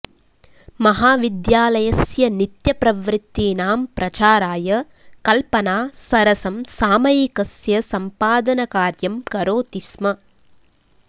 महाविद्यालयस्य नित्यप्रवृत्तीनां प्रचाराय कल्पना सरसं सामयिकस्य सम्पादनकार्यं करोति स्म